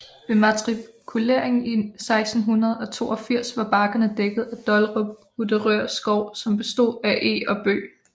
Ved matrikuleringen i 1682 var bakkerne dækket af Dollerup Uderør Skov som bestod af eg og bøg